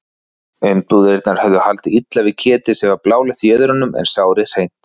Umbúðirnar höfðu haldið illa við ketið sem var bláleitt í jöðrunum en sárið hreint.